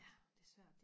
ja det er svært